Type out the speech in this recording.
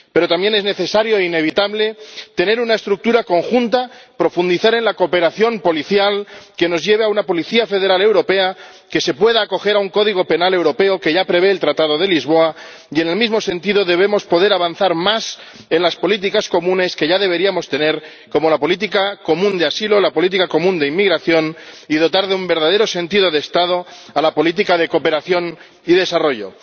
Pero también es necesario e inevitable tener una estructura conjunta, profundizar en la cooperación policial, y que ello nos lleve a una policía federal europea que se pueda acoger a un código penal europeo ―que ya prevé el Tratado de Lisboa― y, en el mismo sentido, debemos poder avanzar más en las políticas comunes ―que ya deberíamos tener―, como la política común de asilo o la política común de inmigración, y dotar de un verdadero sentido de Estado a la política de cooperación y desarrollo.